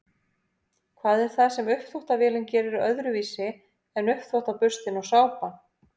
hvað er það sem uppþvottavélin gerir öðruvísi en uppþvottaburstinn og sápan